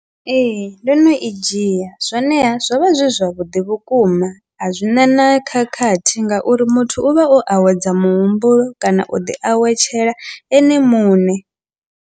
Ee, ndo no i dzhia zwoneha zwo vha zwi zwavhuḓi vhukuma a zwi na na khakhathi ngauri muthu u vha o awedza muhumbulo kana u ḓi awetshela ene muṋe.